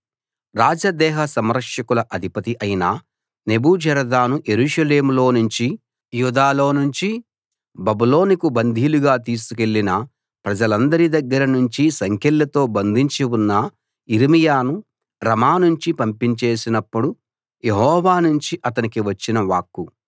రాజదేహ సంరక్షకుల అధిపతి అయిన నెబూజరదాను యెరూషలేములో నుంచి యూదాలో నుంచి బబులోనుకు బందీలుగా తీసుకెళ్ళిన ప్రజలందరి దగ్గర నుంచి సంకెళ్లతో బంధించి ఉన్న యిర్మీయాను రమా నుంచి పంపించేసినప్పుడు యెహోవా నుంచి అతనికి వచ్చిన వాక్కు